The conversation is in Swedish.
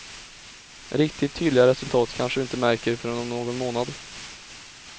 Riktigt tydliga resultat kanske du inte märker förrän om någon månad.